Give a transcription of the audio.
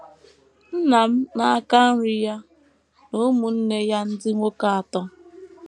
Nna m, n’aka nri, ya na ụmụnne ya ndị nwoke atọ